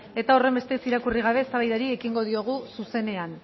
eta horrenbestez irakurri gabe eztabaidari ekingo diogu zuzenean